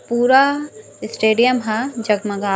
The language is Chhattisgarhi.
पूरा स्टेडियम हा जगमगात--